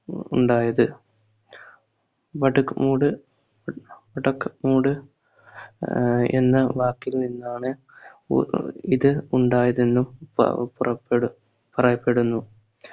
ഉണ്ടായത് ബട്ടക്മൂഡ് ബട്ടക്മൂഡ് ആഹ് എന്ന വാക്കിൽ നിന്നാണ് ഉ ഇതു ഉണ്ടായതെന്നും പ പുറപ്പെടു പറയപ്പെടുന്നു